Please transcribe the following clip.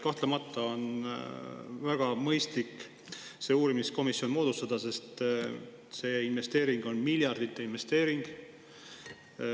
Kahtlemata on väga mõistlik see uurimiskomisjon moodustada, sest see investeering on miljardite suurune.